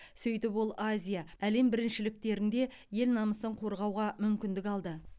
сөйтіп ол азия әлем біріншіліктерінде ел намысын қорғауға мүмкіндік алды